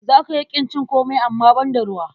Za ka iya ƙin cin komai amma banda ruwa.